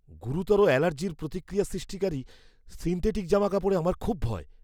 গুরুতর অ্যালার্জির প্রতিক্রিয়া সৃষ্টিকারী সিন্থেটিক জামাকাপড়ে আমার খুব ভয়।